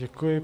Děkuji.